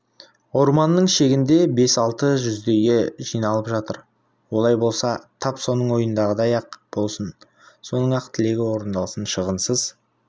орманның шетінде бес-алты жүздейі жиналып жатыр олай болса тап соның ойындағыдай-ақ болсын соның-ақ тілегі орындалсын шығынсыз